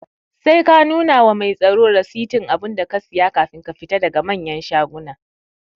Sai ka nuna wa mai tsaro rasitin abunda ka siya kafin ka fita daga manyan shaguna